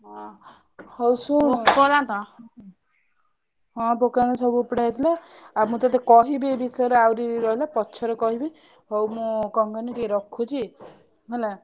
ହଉ ଶୁଣୁ ହଁ ପୋକ ଦାନ୍ତ ସବୁ ଉପୁଡା ହେଇଥିଲା ଆଉ ମୁଁ ତତେ କହିବି ଏଇ ବିଷୟରେ ଆହୁରି ରହିଲେ ପଛରେ କହିବି ହଉ ମୁଁ କଣ କହନି ଟିକେ ରଖୁଛି ହେଲା।